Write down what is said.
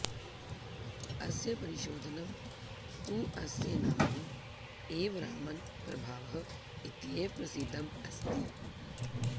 अस्य परिशोधनं तु अस्य नाम्नि एव रामन् प्रभावः इत्येव प्रसिद्धम् अस्ति